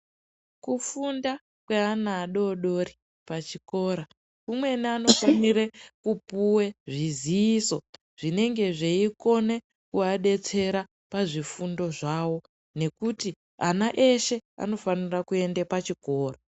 Kufunda kweana adodori pachikora ,umweni anofumire kupuwe zviziiso zvinenge zveikone kuadetsera pazvifundo zvawo ,nekuti ana eshe anofanire kuende pachikora.